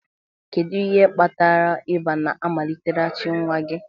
Kedu ihe kpatara ịba na-amaliteghachi nwa gị?